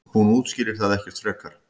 Hún útskýrir það ekkert frekar.